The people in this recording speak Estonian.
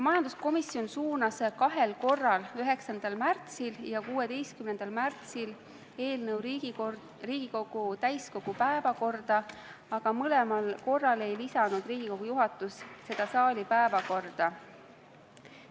Majanduskomisjon suunas kahel korral, 9. märtsil ja 16. märtsil, eelnõu Riigikogu täiskogu päevakorda, aga kummalgi korral ei lisanud Riigikogu juhatus seda saali päevakorda.